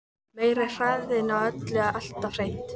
Meiri hraðinn á öllu alltaf hreint.